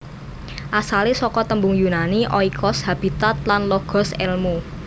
Asalé saka tembung Yunani oikos habitat lan logos èlmu